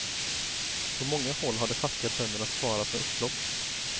På många håll har de fattiga bönderna svarat med upplopp.